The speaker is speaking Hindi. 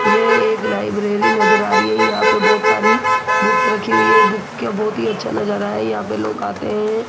ये एक लायब्रेरी नजर आ रही है यहाँ पे बहोत सारी बुक्स रखी हुई है बुक्स का बाहोंत हि अच्छा नजारा है यहाँ पे लोग आते हैं।